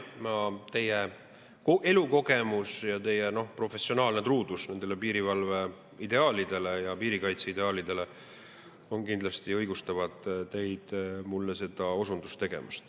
Teie elukogemus ja teie professionaalne truudus piirivalve ideaalidele, piirikaitse ideaalidele kindlasti õigustavad teid mulle seda osundust tegemast.